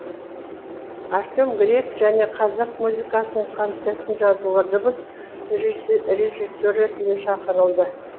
артем грек және қазақ музыкасының концертін жазуға дыбыс режиссері ретінде шақырылды